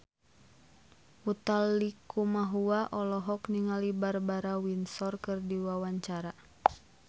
Utha Likumahua olohok ningali Barbara Windsor keur diwawancara